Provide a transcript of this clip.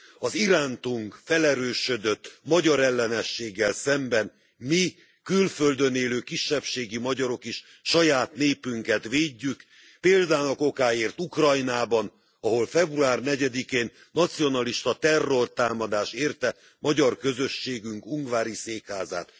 Az irántunk felerősödött magyarellenességgel szemben mi, külföldön élő kisebbségi magyarok is saját népünket védjük, példának okáért Ukrajnában, ahol február 4 én nacionalista terrortámadás érte magyar közösségünk ungvári székházát.